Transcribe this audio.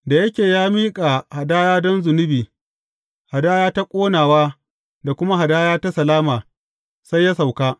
Da yake ya miƙa hadaya don zunubi, hadaya ta ƙonawa da kuma hadaya ta salama, sai ya sauka.